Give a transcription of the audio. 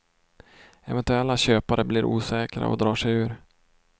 Eventuella köpare blir osäkra och drar sig ur.